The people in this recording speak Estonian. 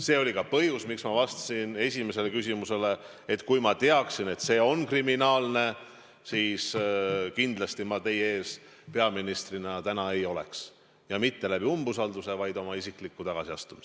See oli ka põhjus, miks ma vastasin esimesele küsimusele, et kui ma teaksin, et see on kriminaalne, siis kindlasti ma teie ees peaministrina täna ei oleks, ja mitte läbi umbusalduse, vaid oma isikliku tagasiastumise.